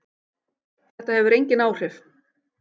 Þetta hefur engin áhrif